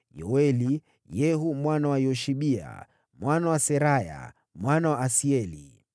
Yoeli, Yehu mwana wa Yoshibia, mwana wa Seraya, mwana wa Asieli.